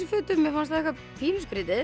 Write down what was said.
fötum fannst það eitthvað pínu skrítið